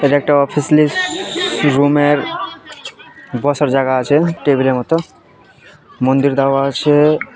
এটা একটা office list room এ বসার জায়গা আছে টেবিল এর মত মন্দির দেওয়া আছে।